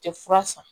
Tɛ fura san